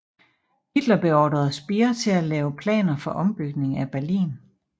Hitler beordrede Speer til at lave planer for ombygning af Berlin